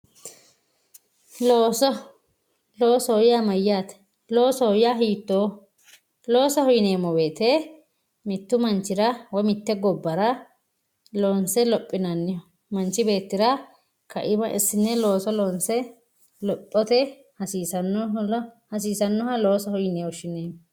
looso loosoho yaa mayaate loosoho yaa hiitooho loosoho yineemo woyiite mittu manchira woye mitte gobbara loonse lophinanni manch beettira ka"ima assinne looso loonse hasiisannoha loosoho yine woshshineemo